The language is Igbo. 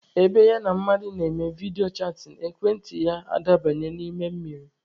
Ebe ya na mmadụ na-eme vidiyo chatịn, ekwentị ya adabanye n'ime mmiri.